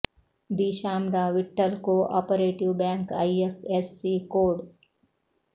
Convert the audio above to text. the Sham Rao Vitthal cooperative bank I F S C code